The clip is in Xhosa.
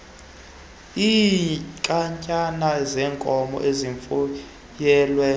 iinkatyana zenkomo ezifuyelwe